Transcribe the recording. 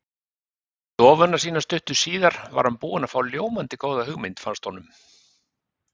stofuna sína stuttu síðar var hann búinn að fá ljómandi góða hugmynd, fannst honum.